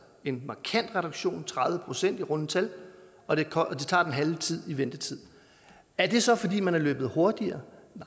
en markant reduktion tredive procent i runde tal og det tager den halve tid i ventetid er det så fordi man har løbet hurtigere